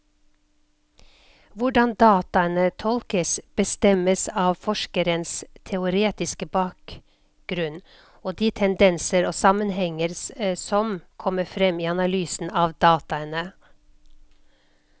Hvordan dataene tolkes, bestemmes av forskerens teoretiske bakgrunnen og de tendenser og sammenhenger som kommer frem i analysen av dataene.